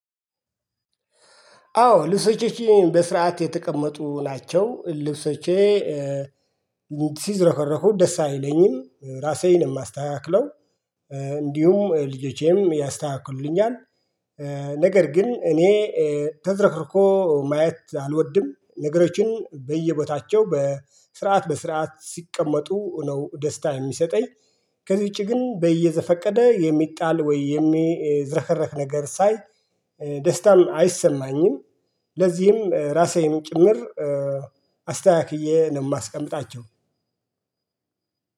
አዎ ልብሶቼን በስርዓት የተቀመጡ ናቸው። ልብሶቼ ሲዝረከረኩ ደስ አይለኝም ራሴን የማስተካክለው እንዲሁም ልጆቼም ያስተካክሉልኛል። ነገር ግን እኔ ተዝረክርኮ ማየት አልወድም ነገሮችን በየቦታቸው በስርዓት በስርዓት ሲቀመጡ ነው ደስታ የሚሰጠኝ። ከዚች ግን በየዘፈቀደ የሚጣል ወይም የሚዝረከረክ ነገር ሳይ ደስታን አይሰማኝም። ለዚህም ራሴም ጭምር አስተካክዬ ነው የማስቀምጣቸው